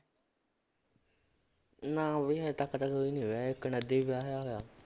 ਨਾ ਵੀ ਹਜੇ ਤੱਕ ਤਾਂ ਕੋਈ ਨੀ ਵਿਆਹਿਆ ਹੀ ਵਿਆਹਿਆ ਹੋਇਆ